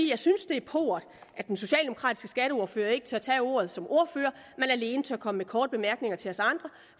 jeg synes det er pauvert at den socialdemokratiske skatteordfører ikke tør tage ordet som ordfører men alene tør komme med korte bemærkninger til os andre